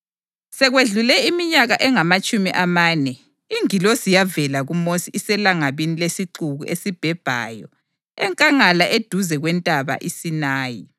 Sekwedlule iminyaka engamatshumi amane, ingilosi yavela kuMosi iselangabini lesixuku esibhebhayo enkangala eduze kweNtaba iSinayi.